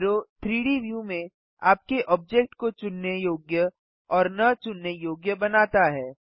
arrow 3डी view में आपके ऑब्जेक्ट को चुनने योग्य और न चुनने योग्य बनाता है